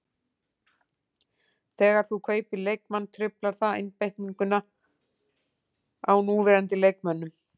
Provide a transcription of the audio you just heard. Þegar þú kaupir leikmann truflar það einbeitinguna á núverandi leikmönnum.